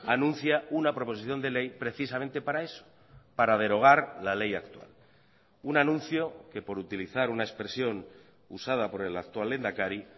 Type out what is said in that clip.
anuncia una proposición de ley precisamente para eso para derogar la ley actual un anuncio que por utilizar una expresión usada por el actual lehendakari